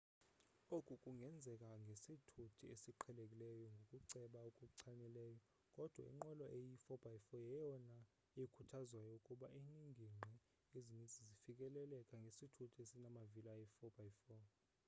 oku kungenzeka ngesithuthi esiqhelekileyo ngokuceba okuchanileyo kodwa inqwelo eyi 4x4 yeyona ikhuthazwayo kuba ingingqi ezinintsi zifikeleleka ngesithuthi esimavili ayi 4x4